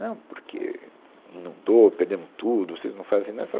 Não porque inundou, perdemos tudo, vocês não fazem nada. Falaram